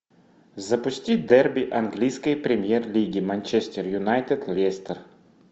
запусти дерби английской премьер лиги манчестер юнайтед лестер